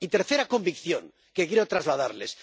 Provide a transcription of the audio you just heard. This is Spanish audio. Y tercera convicción que quiero trasladarles.